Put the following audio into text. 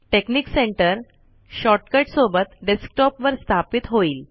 technique center shortcut सोबत desktop वर स्थापित होईल